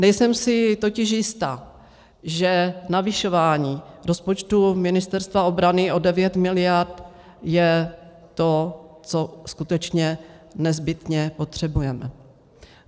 Nejsem si totiž jista, že navyšování rozpočtu Ministerstva obrany o 9 miliard je to, co skutečně nezbytně potřebujeme.